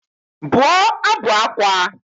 Bụọ ábụ̀ ákwá!